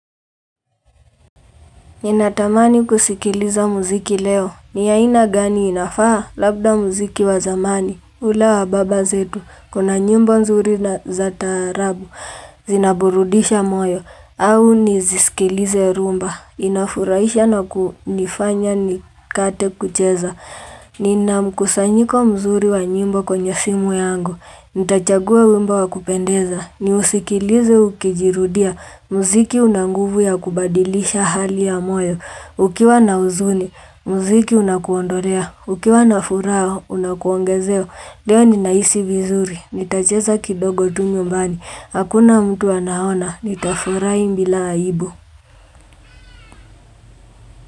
Ninatamani kusikiliza muziki leo. Ni aina gani inafaa labda mziki wa zamani. Ula wa baba zetu. Hh Kuna nyimbo nzuri na za taarabu. Hh Zinaburudisha moyo. Au nizisikilize rumba. Ilk Inafurahisha na kunifanya nikate kucheza. Hhh ni na mkusanyiko mzuri wa nyimbo kwenye simu yangu hhh Nitachagua wimbo wa kupendeza ni usikilize ukijirudia, Mziki unanguvu ya kubadilisha hali ya moyo Ukiwa na uzuni, mziki unakuondolea Ukiwa na furaha, unakuongezea leo ninahisi vizuri Nitacheza kidogo tu nyumbani Hakuna mtu anaona, nitafurahi mbila aibu.